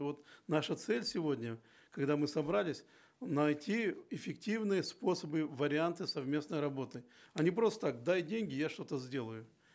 вот наша цель сегодня когда мы собрались найти эффективные способы варианты совместной работы а не просто так дай деньги я что то сделаю